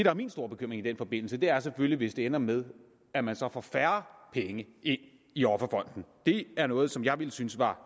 er min store bekymring i den forbindelse er selvfølgelig hvis det ender med at man så får færre penge ind i offerfonden det er noget som jeg ville synes var